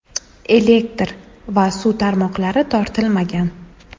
Elektr va suv tarmoqlari tortilmagan.